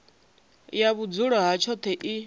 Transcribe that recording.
ya vhudzulo ha tshoṱhe i